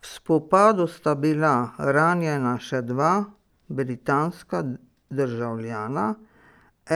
V spopadu sta bila ranjena še dva britanska državljana,